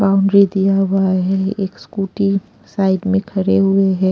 Boundary दिया हुआ है एक स्कूटी साइड में खड़े हुए हैं।